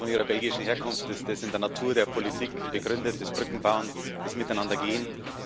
Schon von Ihrer belgischen Herkunft ist das in der Natur der Politik begründet, das Brückenbauen, das Miteinandergehen.